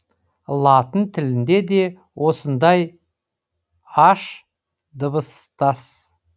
латын тілінде де осындай аш дыбыстас